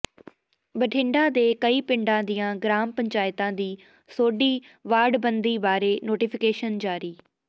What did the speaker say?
ਬਠਿੰਡਾ ਦੇ ਕਈ ਪਿੰਡਾਂ ਦੀਆਂ ਗਰਾਮ ਪੰਚਾਇਤਾਂ ਦੀ ਸੋਧੀ ਵਾਰਡਬੰਦੀ ਬਾਰੇ ਨੋਟੀਫ਼ਿਕੇਸ਼ਨ ਜਾਰੀ